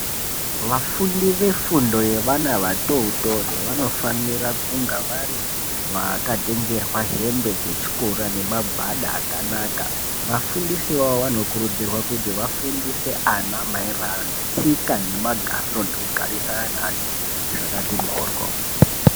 Vafundi vefundo yevana vatotori vanofanira kunge vakatengerwa hembe dzechikora nemagwada akanaka vafundisi vavo vanokurudzirwa kuti vafundise ana maererano netsoka nemagariro nekugarisana nenantu zvakati mboryo.